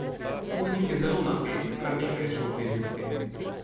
Urnik je zelo napet, kar nekaj je še obveznosti.